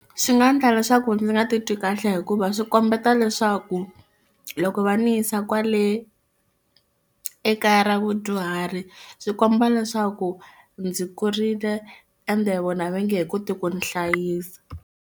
Swi nga endla leswaku ndzi nga titwi kahle hikuva swi kombeta leswaku loko va ni yisa kwale ekaya ra vadyuhari swi komba leswaku ndzi kurile ende vona va nge he koti ku ni hlayisa.